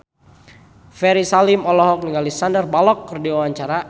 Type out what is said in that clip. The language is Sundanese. Ferry Salim olohok ningali Sandar Bullock keur diwawancara